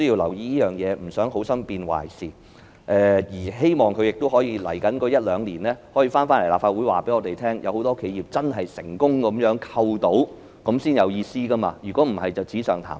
我們不想好心變壞事，更希望政府在未來一兩年可以到立法會告訴我們，有很多企業成功獲得扣稅，這樣才有意思，否則只是紙上談兵。